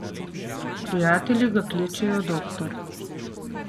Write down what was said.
Prijatelji ga kličejo Doktor.